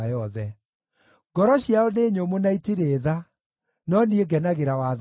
Ngoro ciao nĩ nyũmũ na itirĩ tha, no niĩ ngenagĩra watho waku.